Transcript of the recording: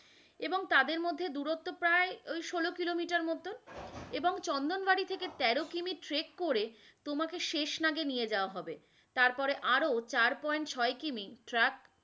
এবং তাদের মধ্যে দূরত্ব প্রায় ঐ সোল Kilometer মত, এবং চন্দনবাড়ি থেকে তেরো কিমি track করে তোমাকে শেষ নাগে নিয়ে যাওয়া হবে, তারপরে আরো চার point ছয় কিমি Trac